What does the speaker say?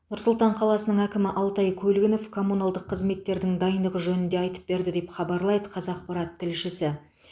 нұр сұлтан қаласының әкімі алтай көлгінов коммуналдық қызметтердің дайындығы жөнінде айтып берді деп хабарлайды қазақпарат тілшісі